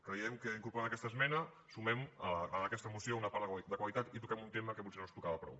creiem que incorporant aquesta esmena sumem a aquesta moció una part de qualitat i toquem un tema que potser no es tocava prou